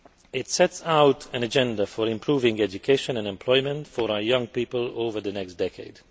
It sets out an agenda for improving education and employment for our young people over the next decade.